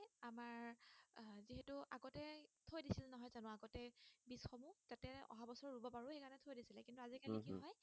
আজি কালি কি হয় উম হম